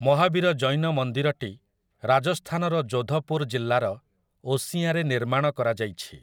ମହାବୀର ଜୈନ ମନ୍ଦିରଟି ରାଜସ୍ଥାନର ଯୋଧପୁର ଜିଲ୍ଲାର ଓସିଆଁରେ ନିର୍ମାଣ କରାଯାଇଛି ।